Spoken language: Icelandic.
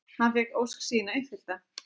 Hann fékk ósk sína uppfyllta.